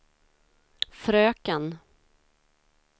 fröken